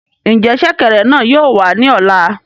Njẹ ṣẹ̀kẹ̀rẹ̀ náà yóò wà ní ọ̀la?